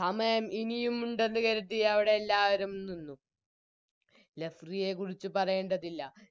സമയം ഇനിയുമുണ്ടെന്ന് കരുതി അവിടെയെല്ലാവരും നിന്നു Referee യെ കുറിച്ചുപറയേണ്ടതില്ല